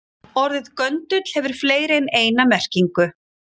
Orðið göndull hefur fleiri en eina merkingu.